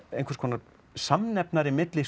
einhvers konar samnefnari milli